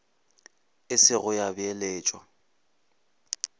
e se go ya beeletšwa